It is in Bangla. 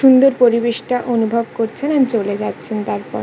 সুন্দর পরিবেশটা অনুভব করছেন এন চলে যাচ্ছেন তারপর।